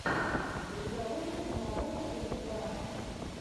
у тебя будет киноработа в духе драмы